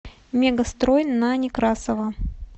мегастрой на некрасова